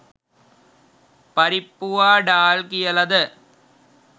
පරිප්පුවා ඩාල් කියලද